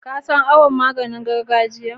Ka san awon maganin gargajiyan?